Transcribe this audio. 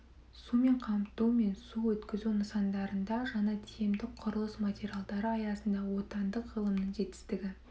сумен қамту мен су өткізу нысандарында жаңа тиімді құрылыс материалдары аясында отандық ғылымның жетістігі